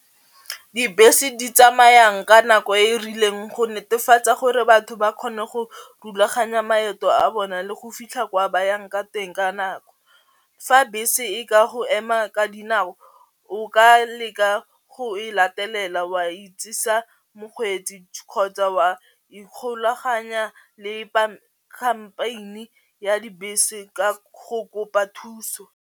Dibese di tsamayang ka nako e e rileng go netefatsa gore batho ba kgone go rulaganya maeto a bona le go fitlha kwa ba yang ka teng ka nako. Fa bese e ka go ema ka dinako o ka leka go e latelela wa itsisa mokgweetsi kgotsa wa ikgolaganya le ya dibese ka go kopa thuso.